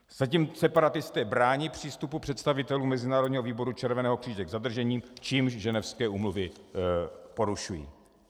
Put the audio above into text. Zatím separatisté brání přístupu představitelů Mezinárodního výboru Červeného kříže k zadržení, čímž Ženevské úmluvy porušují.